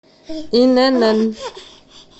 инн